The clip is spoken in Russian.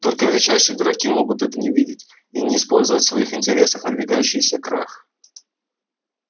только величайшие дураки могут этого не видеть и не использовать в своих интересах надвигающийся крах